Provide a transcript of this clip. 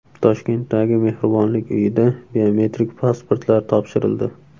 Toshkentdagi Mehribonlik uyida biometrik pasportlar topshirildi.